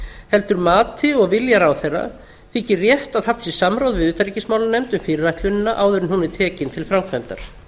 heldur mati og vilja ráðherra þykir rétt að haft sé samráð við utanríkismálanefnd um fyrirætlunina áður en hún er tekin til framkvæmdar